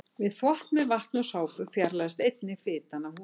Við þvott með vatni og sápu fjarlægist einnig fitan af húðinni.